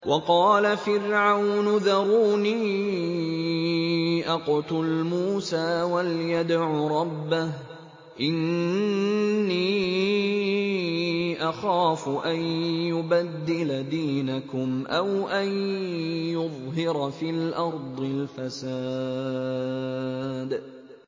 وَقَالَ فِرْعَوْنُ ذَرُونِي أَقْتُلْ مُوسَىٰ وَلْيَدْعُ رَبَّهُ ۖ إِنِّي أَخَافُ أَن يُبَدِّلَ دِينَكُمْ أَوْ أَن يُظْهِرَ فِي الْأَرْضِ الْفَسَادَ